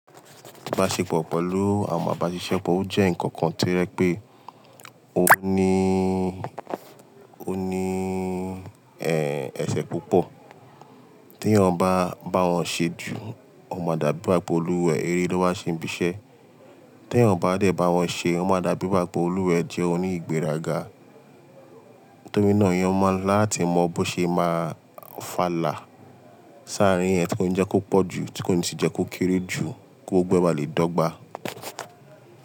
Ìbáṣepọ̀ pẹ̀lú àwọn abaṣiṣẹ́pọ̀ ó jẹ́ ǹkan kan tí ó jẹ́ pé ó ní, ó ní, ẹ́, ẹsẹ̀ púpọ̀. Tí èyàn bá ń bá àwọn ṣe jù, wọn máa dàbí bápolúwẹ̀ẹ́, eré ló máa ṣe ń bísẹ́. Tí èyàn bá dẹ̀ bá wọn ṣe, ó máa dàbí bápolúwẹ̀ẹ́ jẹ oníìgbéraga. Torí náà èyàn máa láti mọ bó ṣe ma fàlà sí àrín yẹn tí ó ni jẹ́ kó pọ̀jù tí ó ni jẹ́ kó kéré kí gbogbo ẹ bá lè dọ́gba.